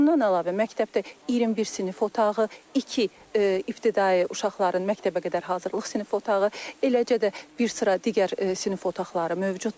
Bundan əlavə, məktəbdə 21 sinif otağı, iki ibtidai uşaqların məktəbəqədər hazırlıq sinif otağı, eləcə də bir sıra digər sinif otaqları mövcuddur.